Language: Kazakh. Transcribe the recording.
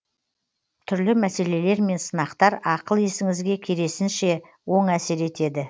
түрлі мәселелер мен сынақтар ақыл есіңізге кересінше оң әсер етеді